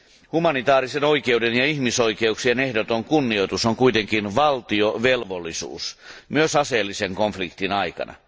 Humanitäärisen oikeuden ja ihmisoikeuksien ehdoton kunnioitus on kuitenkin valtiovelvollisuus myös aseellisen konfliktin aikana.